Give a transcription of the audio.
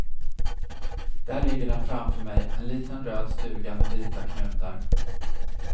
Där ligger den framför mig, en liten röd stuga med vita knutar.